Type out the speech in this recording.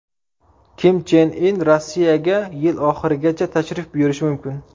Kim Chen In Rossiyaga yil oxirigacha tashrif buyurishi mumkin.